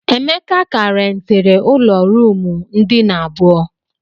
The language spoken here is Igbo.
Emeka ka rentiri ụlọ ruumu ndina abụọ.